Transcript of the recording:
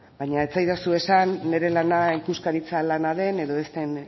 baina ez zaidazu esan nire lana ikuskaritza lana den edo ez den